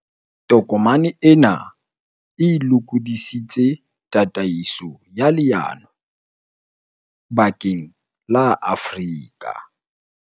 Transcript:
Tokomane ena e lokodi sitse tataiso ya leano bakeng la Afrika